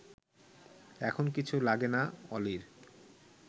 এখন কিছু লাগে না অলির